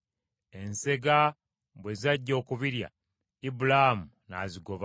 Ensega bwe zajja okubirya, Ibulaamu n’azigoba.